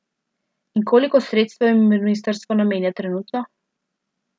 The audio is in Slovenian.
In koliko sredstev jim ministrstvo namenja trenutno?